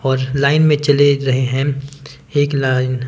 और लाइन में चले रहे हैं एक लाइन --